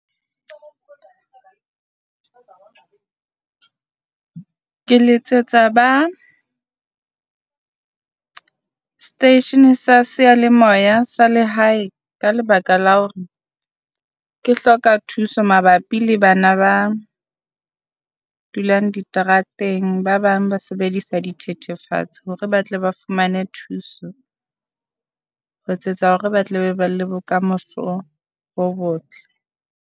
Ke letsetsa ba seteishene sa seyalemoya sa lehae ka lebaka la hore ke hloka thuso mabapi le bana ba dulang diterateng. Ba bang ba sebedisa dithethefatsi hore ba tle ba fumane thuso, ho etsetsa hore ba tle be ba le bokamoso bo botle.